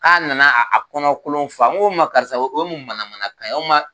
An nana a kɔnɔkolon fa n ko o tuma karisa o ye mun manamanakan ye o tuma